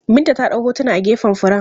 Binta ta ɗau hotuna a gefen furen.